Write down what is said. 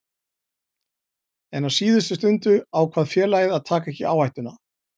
En á síðustu stundu ákvað félagið að taka ekki áhættuna.